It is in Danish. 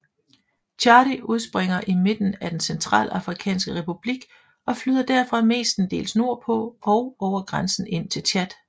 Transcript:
Chari udspringer i midten af den Centralafrikanske Republik og flyder derfra mestendels nordpå og over grænsen ind til Tchad